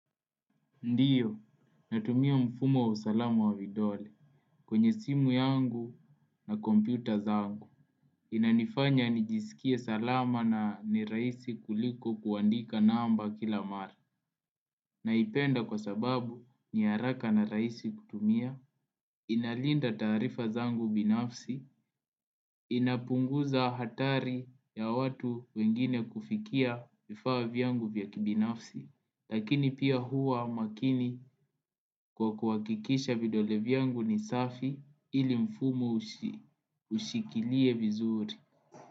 Ndiyo, natumia mfumo wa salama wa vidole kwenye simu yangu na kompyuta zangu. Inanifanya nijisikie salama na nirahisi kuliko kuandika namba kila mara. Naipenda kwa sababu ni haraka na raisi kutumia, inalinda taarifa zangu binafsi. Inapunguza hatari ya watu wengine kufikia vifaa vyangu vya kibinafsi, Lakini pia huwa makini kwa kuwakikisha vidole vyangu ni safi ilimfumo ushikilie vizuri.